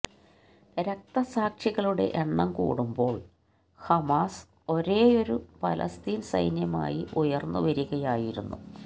രക്തസാക്ഷികളുടെ എണ്ണം കൂടുമ്പോള് ഹമാസ് ഒരേയൊരു ഫലസ്തീന് സൈന്യമായി ഉയര്ന്നു വരികയായിരുന്നു